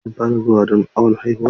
Shin kun fara zuwa don awon haihuwa?